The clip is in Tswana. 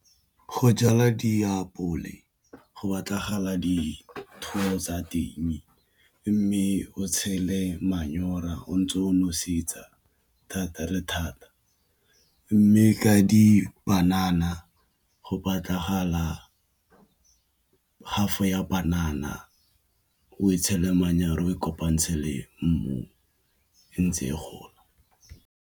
Go jala diapole go batlagale dithoto tsa teng mme o tshele manyora o ntse o nosetsa thata le thata mme ka dipanana go patlagala half ya panana o e tshele manyoro e kopantsha le mmu ntse e gola.